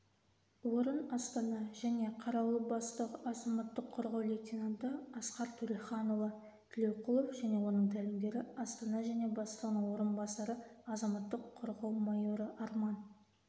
орын-астана және қарауыл бастығы азаматық қорғау лейтенанты асқар төреханұлы тілеуқұлов және оның тәлімгері астана және бастығының орынбасары азаматтық қорғау майоры арман